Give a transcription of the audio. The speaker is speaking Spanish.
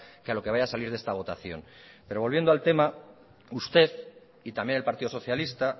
que a lo que vaya a salir de esta votación pero volviendo al tema usted y también el partido socialista